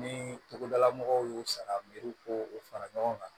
Ni togodala mɔgɔw y'u sara miiri ko o fara ɲɔgɔn kan